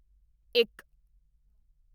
ਇੱਕ